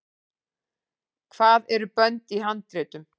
hvað eru bönd í handritum